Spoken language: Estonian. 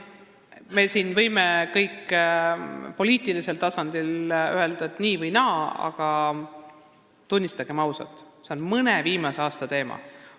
Me võime kõik poliitilisel tasandil öelda, et asi on nii või naa, aga tunnistagem ausalt, et see on paari viimase aasta teema.